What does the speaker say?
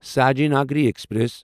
Sayaji Nagari express